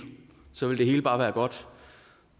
ville alt bare være godt